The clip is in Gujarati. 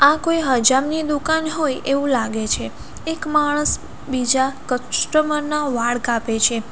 આ કોઈ હજામ ની દુકાન હોય એવું લાગે છે એક માણસ બીજા કસ્ટમર ના વાળ કાપે છે.